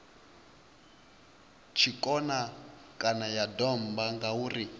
tshikona kana ya domba ngauri